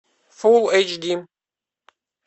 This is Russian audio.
фул эйч ди